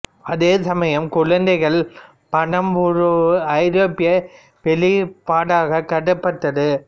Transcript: அதே சமயம் குழந்தைகள் படம் ஒரு ஐரோப்பிய வெளிப்பாடாக கருதப்பட்டது